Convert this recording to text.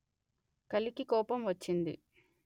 కలికి కోపం వచ్చింది